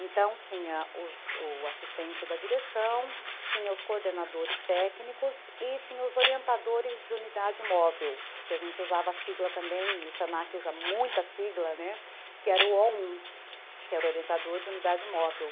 Então, tinha os assistente da direção, tinha os coordenadores técnicos e tinha os orientadores de unidade móvel, que a gente usava a sigla também, e o senaque usa muita sigla, né, que era o ó um, que era o orientador de unidade móvel.